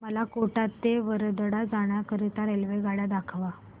मला कोटा ते वडोदरा जाण्या करीता रेल्वेगाड्या दाखवा